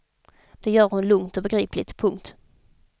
Det gör hon lugnt och begripligt. punkt